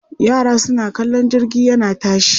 Yara suna kallon jirgi yana tashi.